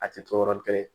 A tɛ to yɔrɔnin kelen